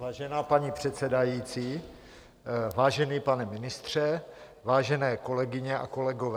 Vážená paní předsedající, vážený pane ministře, vážené kolegyně a kolegové.